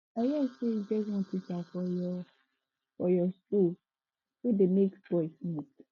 i hear say e get one teacher for your for your school wey dey make boys smoke